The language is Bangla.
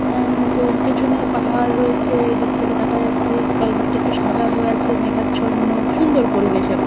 উম পেছনে পাহাড় রয়েছেদূর থেকে দেখা যাচ্ছে চারিদিকটা একটু সাদা হয়ে আছেমেঘাচ্ছন্ন সুন্দর পরিবেশ একটা।